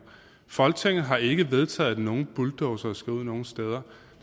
folketinget har ikke vedtaget at nogen bulldozere skal ud nogen steder